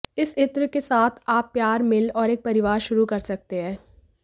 इस इत्र के साथ आप प्यार मिल और एक परिवार शुरू कर सकते हैं